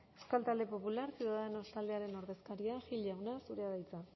euskal talde popular ciudadanos taldearen ordezkaria gil jauna zurea da hitza